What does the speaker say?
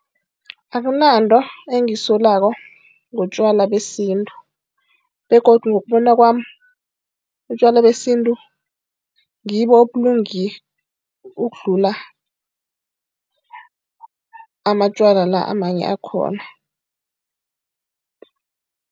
Akunanto engiyisolako ngotjwala besintu begodu ngokubona kwami, utjwala besintu ngibo obulunge ukudlula amatjwala la amanye akhona.